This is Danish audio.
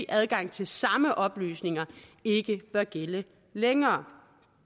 adgang til samme oplysninger ikke bør gælde længere